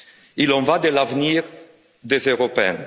Il en va de l'avenir des Européens.